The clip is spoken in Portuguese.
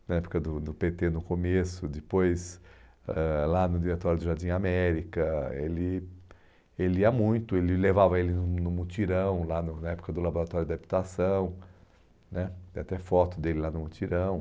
na época do do pê tê no começo, depois ãh lá no Diretório do Jardim América, ele ele ia muito, ele levava ele no no mutirão, lá no na época do Laboratório de habitação né, tem até foto dele lá no mutirão.